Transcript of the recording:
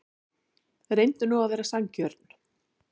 Reyndu nú að vera sanngjörn.